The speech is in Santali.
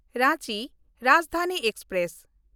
ᱨᱟᱸᱪᱤ ᱨᱟᱡᱽᱫᱷᱟᱱᱤ ᱮᱠᱥᱯᱨᱮᱥ